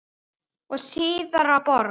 og síðar að borg.